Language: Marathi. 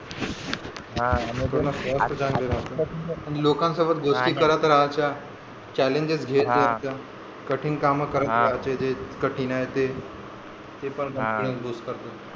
हा लोकांसोबत गोष्टी करत राहायच्या challenges घेत जायचं कठीण काम करत राहायचे जे कठीण आहे ते ते पण